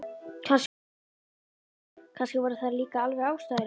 Kannski voru þær líka alveg ástæðulausar.